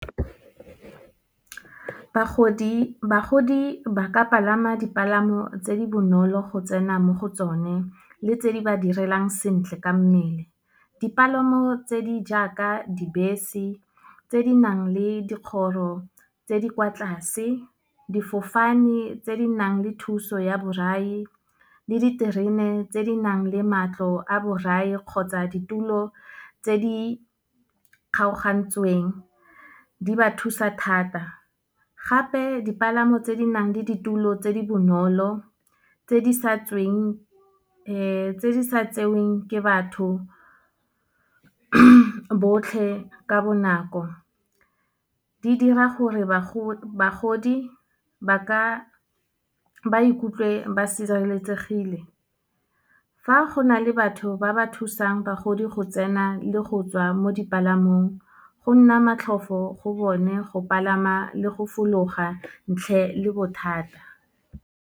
Bagodi ba ka palama dipalamo tse di bonolo go tsena mo go tsone, le tse di ba direlang sentle ka mmele. Dipalamo tse di jaaka dibese, tse di nang le dikgoro tse di kwa tlase. Difofane tse di nang le thuso ya borai, le diterene tse di nang le matlo a borai kgotsa ditulo tse di kgaogantsweng, di ba thusa thata. Gape dipalamo tse di nang le ditulo tse di bonolo, tse di sa tseweng ke batho botlhe ka bonako, di dira gore bagodi ba ikutlwe ba sireletsegile. Fa go na le batho ba ba thusang bagodi go tsena le go tswa mo dipalamong, go nna matlhofo go bone, go palama le go fologa ntle le bothata.